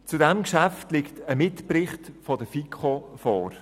Zu diesem Geschäft liegt ein Mitbericht der FiKo vor.